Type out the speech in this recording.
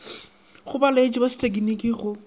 go baeletši ba sethekniki go